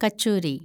kachori